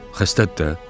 Xəstədir də.